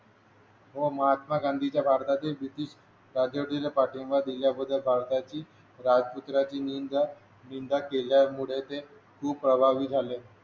व महात्मा गांधीच्या भारताचे ब्रिटिश राजवटीला पाठिंबा दिल्याबद्दल भारताचे राजपुत्राची निंदा निंदा केल्यामुळे ते सुप्रभावी झाले